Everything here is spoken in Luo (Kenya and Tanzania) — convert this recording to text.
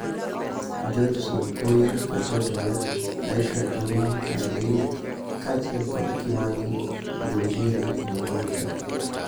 George Sunkuyia (Kajiado West), Aisha Jumwa (Malindi) kaachiel kod Kimani Ngunjiri (Bahati).